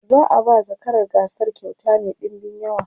za'a ba zakarar gasar kyauta Mai ɗinbin yawa